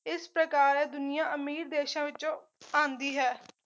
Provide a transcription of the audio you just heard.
ਇਸ ਪ੍ਰਕਾਰ ਐ ਦੁਨੀਆਂ ਅਮੀਰ ਦੇਸ਼ਾਂ ਵਿੱਚੋ ਆਉਂਦੀ ਹੈ